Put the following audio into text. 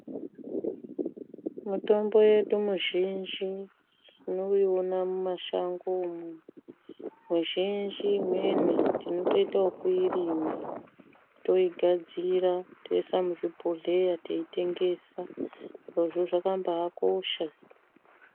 Mitombo yedu muzhinji tinoiona muma shango mwo mizhinji imweni tinotoite yekui rima toigadzira toisa muzvi bhohleya tei tengesa izvozvo zvakambai kosha.